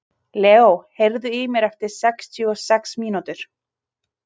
Leó, heyrðu í mér eftir sextíu og sex mínútur.